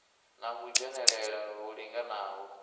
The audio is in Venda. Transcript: na u dzhenelela hu linganaho